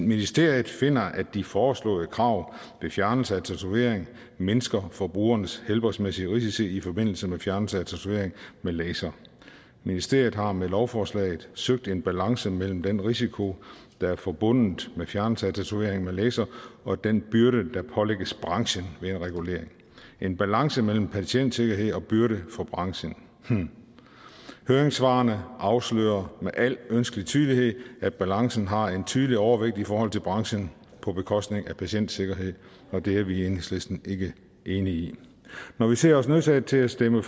ministeriet finder at de foreslåede krav ved fjernelse af tatovering mindsker forbrugernes helbredsmæssige risici i forbindelse med fjernelse af tatovering med laser ministeriet har med lovforslaget søgt en balance mellem den risiko der er forbundet med fjernelse af tatovering med laser og den byrde der pålægges branchen ved en regulering en balance mellem patientsikkerhed og byrde for branchen hm høringssvarene afslører med al ønskelig tydelighed at balancen har en tydelig overvægt i forhold til branchen på bekostning af patientsikkerhed og det er vi i enhedslisten ikke enige i når vi ser os nødsaget til at stemme